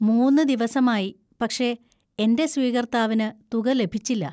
മൂന്ന് ദിവസമായി, പക്ഷേ എന്‍റെ സ്വീകർത്താവിന് തുക ലഭിച്ചില്ല.